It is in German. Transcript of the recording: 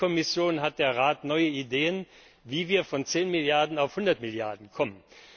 Hat die Kommission, hat der Rat neue Ideen, wie wir von 10 auf 100 Milliarden kommen?